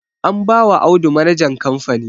Anbawa Audu manajan kamfani